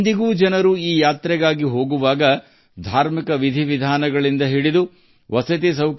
ಇಂದಿಗೂ ಜನರು ಈ ಯಾತ್ರೆಗಳಿಗೆ ಹೋದಾಗ ಬಡವರಿಗೆ ಎಷ್ಟೊಂದು ಅವಕಾಶಗಳು ನಿರ್ಮಾಣವಾಗುತ್ತವೆ